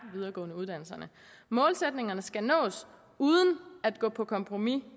videregående uddannelse målsætningerne skal nås uden at gå på kompromis